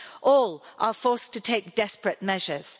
All are forced to take desperate measures.